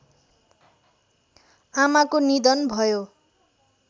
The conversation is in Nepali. आमाको निधन भयो